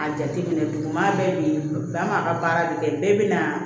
A jateminɛ duguma bɛɛ bi bɛn an b'a ka baara de kɛ bɛɛ bi na